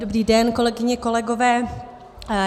Dobrý den, kolegyně, kolegové.